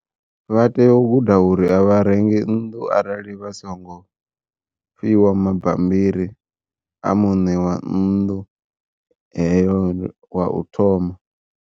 Vha tea u guda uri a vharengi nnḓu arali vha songo, fhiwa mabambiri a muṋe wa nnḓu heyo wa u thoma.